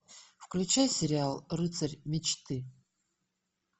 включай сериал рыцарь мечты